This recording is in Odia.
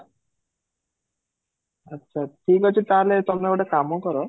ଆଚ୍ଛା ଠିକ ଅଛି ତାହେଲେ ତମେ ଗୋଟେ କାମ କର